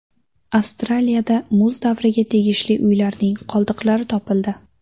Avstraliyada muz davriga tegishli uylarning qoldiqlari topildi.